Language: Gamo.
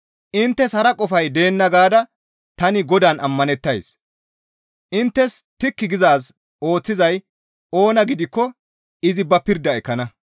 Inttes hara qofay deenna gaada tani Godaan ammanettays; inttes tikki gizaaz ooththizay oona gidikko izi ba pirda ekkana.